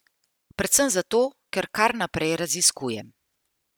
Predvsem zato, ker kar naprej raziskujem.